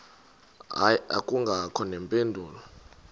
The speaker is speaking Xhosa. hayi akubangakho mpendulo